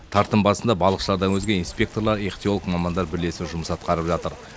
тартым басында балықшылардан өзге инспекторлар ихтиолог мамандар бірлесіп жұмыс атқарып жатыр